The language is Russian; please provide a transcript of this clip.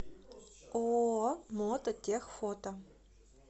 ооо мото тех фото